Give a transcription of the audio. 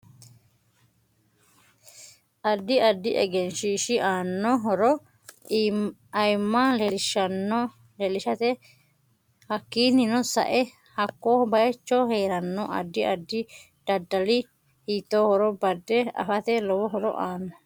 Addi addi egenshiishi aanno horo ayiimma leelishate hakiinino sae haakko bayiicho heerano addi addi daddali hiitoohoro bade afate lowo horo aanno